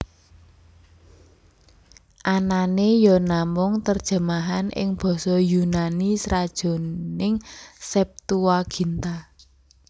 Anané ya namung terjemahan ing basa Yunani sajroning Septuaginta